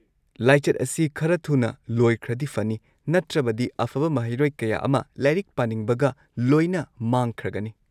ꯂꯥꯏꯆꯠ ꯑꯁꯤ ꯈꯔ ꯊꯨꯅ ꯂꯣꯏꯈ꯭ꯔꯗꯤ ꯐꯅꯤ ꯅꯠꯇ꯭ꯔꯕꯗꯤ ꯑꯐꯕ ꯃꯍꯩꯔꯣꯏ ꯀꯌꯥ ꯑꯃ ꯂꯥꯏꯔꯤꯛ ꯄꯥꯅꯤꯡꯕꯒ ꯂꯣꯏꯅ ꯃꯥꯡꯈ꯭ꯔꯒꯅꯤ꯫